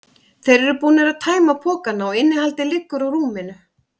Þeir eru búnir að tæma pokana og innihaldið liggur á rúminu.